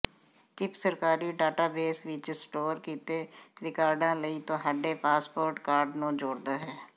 chip ਸਰਕਾਰੀ database ਵਿੱਚ store ਕੀਤੇ ਰਿਕਾਰਡਾਂ ਲਈ ਤੁਹਾਡੇ ਪਾਸਪੋਰਟ ਕਾਰਡ ਨੂੰ ਜੋੜਦਾ ਹੈ